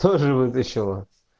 тоже вытащила